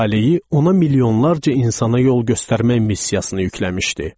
Talehi ona milyonlarca insana yol göstərmək missiyasını yükləmişdi.